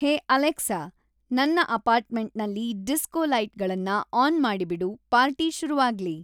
ಹೇ Alexa ನನ್ನ ಅಪಾರ್ಟ್ಮೆಂಟ್ನಲ್ಲಿ disco ಲೈಟ್‌ಗಳನ್ನ ಆನ್ ಮಾಡಿಬಿಡು ಪಾರ್ಟಿ ಶುರುವಾಗ್ಲಿ